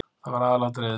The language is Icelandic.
Það var aðalatriðið.